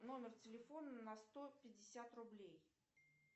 номер телефона на сто пятьдесят рублей